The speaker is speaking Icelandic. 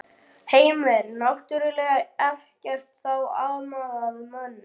Heimir: Náttúrlega ekkert þá amað að mönnum?